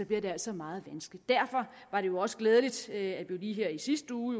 bliver det altså meget vanskeligt derfor var det også glædeligt at vi lige her i sidste uge